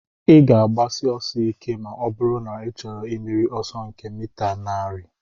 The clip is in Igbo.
Ị ga-agbashi ọsọ ike ma ọ bụrụ na ị chọrọ imeri ọsọ nke mita narị